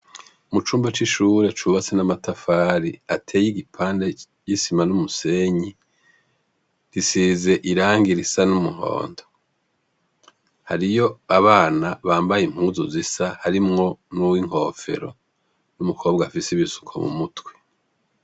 Mu cumba c'ishure cubatse n'amatafari ateye igipande y'isima n'umusenyi, gisize irangi risa n'umuhondo Hariyo abana bambaye impuzu zisa, harimwo n'uw'inkofero n'umukobwa afise ibisuko mu mutwe.